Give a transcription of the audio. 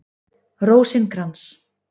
Rósinkrans